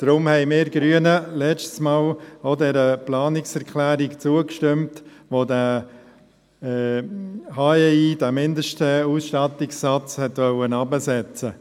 Deshalb haben wir Grünen das letzte Mal auch der Planungserklärung zugestimmt, die den harmonisierten Steuerertragsindex (HEI), den Mindestausstattungssatz, herabsetzen wollte.